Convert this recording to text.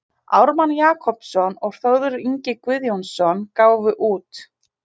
Ármann Jakobsson og Þórður Ingi Guðjónsson gáfu út.